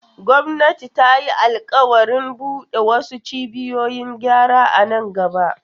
Gwamnati ta yi alƙawarin bude wasu cibiyoyin gyara a nan gaba.